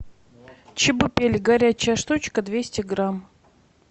чебупели горячая штучка двести грамм